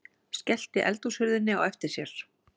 Skellti eldhúshurðinni á eftir sér.